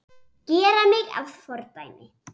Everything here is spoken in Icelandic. Gera mig að fordæmi?